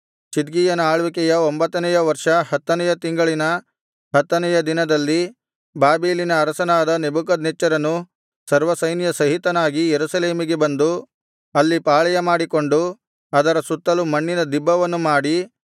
ಚಿದ್ಕೀಯನ ಆಳ್ವಿಕೆಯ ಒಂಭತ್ತನೆಯ ವರ್ಷ ಹತ್ತನೆಯ ತಿಂಗಳಿನ ಹತ್ತನೆಯ ದಿನದಲ್ಲಿ ಬಾಬೆಲಿನ ಅರಸನಾದ ನೆಬೂಕದ್ನೆಚ್ಚರನು ಸರ್ವಸೈನ್ಯ ಸಹಿತನಾಗಿ ಯೆರೂಸಲೇಮಿಗೆ ಬಂದು ಅಲ್ಲಿ ಪಾಳೆಯ ಮಾಡಿಕೊಂಡು ಅದರ ಸುತ್ತಲು ಮಣ್ಣಿನ ದಿಬ್ಬವನ್ನು ಮಾಡಿ